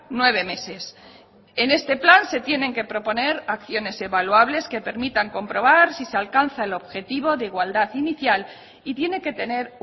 nueve meses en este plan se tienen que proponer acciones evaluables que permitan comprobar si se alcanza el objetivo de igualdad inicial y tiene que tener